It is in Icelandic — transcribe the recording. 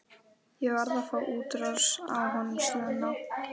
Ég var að fá útrás á honum Svenna.